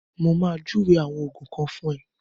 Mo ma júwe àwọn Ògùn kan fún ẹ